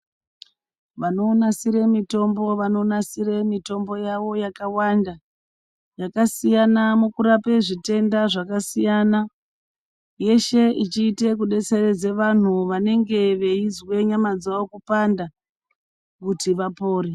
Vanonasire mitombo, vanonasire mitombo yavo yakawanda, yakasiyana mukurape zvitenda zvakasiyana, yeshe ichiite kudetseredza vantu vanenge veizwe nyama dzavo kuphanda kuti vapore.